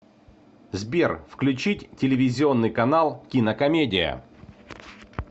сбер включить телевизионный канал кинокомедия